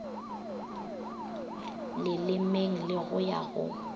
lelemeng le go ya go